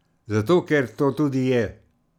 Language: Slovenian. Zato, ker to tudi je.